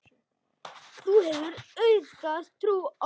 Þú hefur auðgað trú okkar.